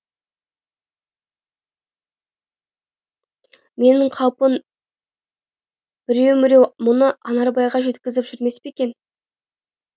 менің қаупім біреу міреу мұны анарбайға жеткізіп жүрмес пе екен